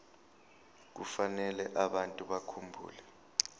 kufanele abantu bakhumbule